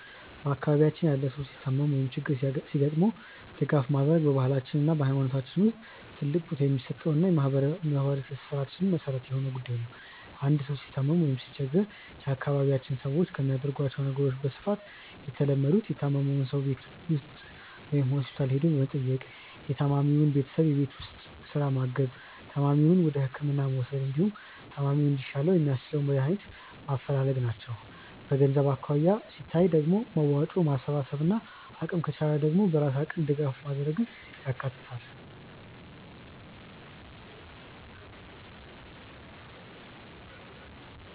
በአካባቢያችን ያለ ሰው ሲታመም ወይም ችግር ሲገጥመው ድጋፍ ማድረግ በባህላችን እና በሃይማኖታችን ውስጥ ትልቅ ቦታ የሚሰጠውና የማህበራዊ ትስስራችን መሰረት የሆነ ጉዳይ ነው። አንድ ሰው ሲታመም ወይም ሲቸገር የአካባቢያችን ሰዎች ከሚያደርጓቸው ነገሮች በስፋት የተለመዱት:- የታመመውን ሰው ቤቱ መጥቶ ወይም ሆስፒታል ሄዶ መጠየቅ፣ የታማሚውን ቤተሰብ የቤት ውስጥ ስራ ማገዝ፣ ታማሚውን ወደህክምና መውሰድ፣ እንዲሁም ታማሚው እንዲሻለው የሚያስችሉ መድሃኒቶችን ማፈላለግ ናቸው። በገንዘብ አኳያ ሲታይ ደግሞ መዋጮ ማሰባሰብን፣ አቅም ከቻለ ደግሞ በራስ አቅም ድጋፍ ማድረግን ያካትታል።